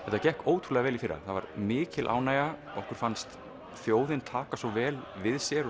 þetta gekk ótrúlega vel í fyrra það var mikil ánægja okkur fannst þjóðin taka svo vel við sér og